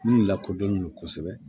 Min lakodɔnnen don kosɛbɛ